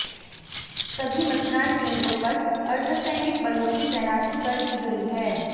सभी मतदान केंद्रों पर अर्धसैनिक बलों की तैनाती कर दी गई है